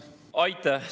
Aitäh!